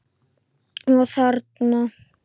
Og þarna?